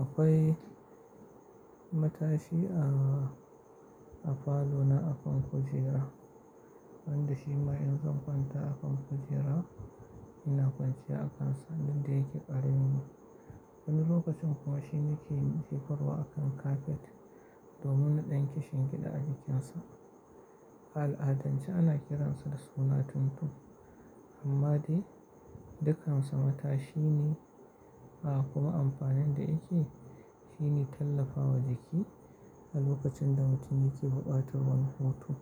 akwai matashi a, a falo na akan kujera. Wanda shi ma in zan kwanta akan kujera, ina kwanciya akansa duk da yake ƙare min. Wani lokacin kuma shi ne ke jefarwa akan kafet domin na ɗan kishin gida a jikinsa. A al'adance ana kiransa da suna Tuntu. Amma dai dukan sa matashi ne. A kuma amfanin da yake, shi ne tallafawa jiki a lokacin da mutum yake buƙatar wani hutu.